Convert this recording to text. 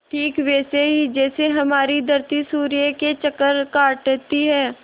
ठीक वैसे ही जैसे हमारी धरती सूर्य के चक्कर काटती है